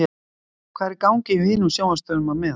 Hvað er í gangi hjá hinum sjónvarpsstöðvunum á meðan?